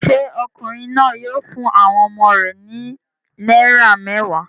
Ṣé ọkùnrin náà yóò fún àwọn ọmọ rẹ̀ ní náírà mẹ́wàá?